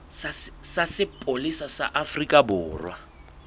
sa sepolesa sa afrika borwa